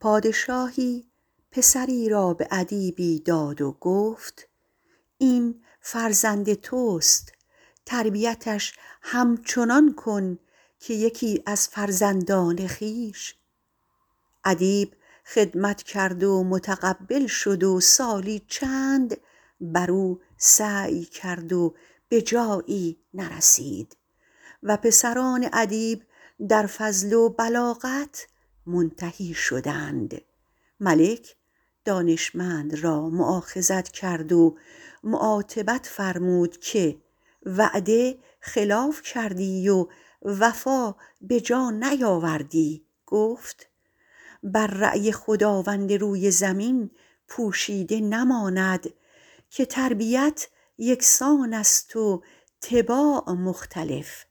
پادشاهی پسری را به ادیبی داد و گفت این فرزند توست تربیتش همچنان کن که یکی از فرزندان خویش ادیب خدمت کرد و متقبل شد و سالی چند بر او سعی کرد و به جایی نرسید و پسران ادیب در فضل و بلاغت منتهی شدند ملک دانشمند را مؤاخذت کرد و معاتبت فرمود که وعده خلاف کردی و وفا به جا نیاوردی گفت بر رای خداوند روی زمین پوشیده نماند که تربیت یکسان است و طباع مختلف